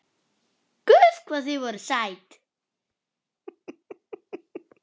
Guð hvað þið voruð sæt!